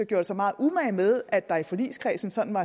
gjorde sig meget umage med at der i forligskredsen sådan var